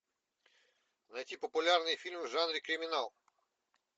найти популярные фильмы в жанре криминал